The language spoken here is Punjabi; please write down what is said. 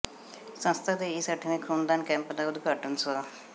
ਸੰਸਥਾ ਦੇ ਇਸ ਅੱਠਵੇਂ ਖੂਨਦਾਨ ਕੈਂਪ ਦਾ ਉਦਘਾਟਨ ਸ੍ਰ